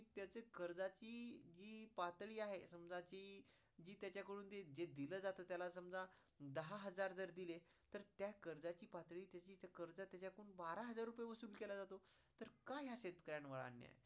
कर्जाची जी पातळी आहे समजा जी जी त्याच्याकडून जे दिला जात त्याला समजा दहा हजार जर दिले तर त्या कर्जाची पातळी त्याची कर्ज त्याच्याकडून बारा हजार रुपए वसूल केला जातो. तर काय शेतकऱ्यांवर अन्याय